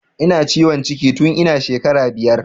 Ina ciwon ciki tun ina shekara biyar